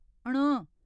ण